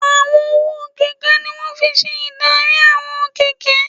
Àwọn ọwọ́ kẹ̀kẹ́ ní wọ́n fi n ṣe ìdarí àwọn kẹ̀kẹ́